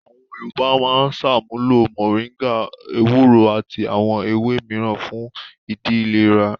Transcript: Àwọn Yorùbá máa ń ṣàmúlò mòríngà, ewúro àti àwọn ewé mìíràn fún ìdí ìlèra.